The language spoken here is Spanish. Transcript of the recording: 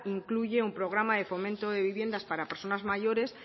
incluye un programa de fomento de viviendas para personas mayores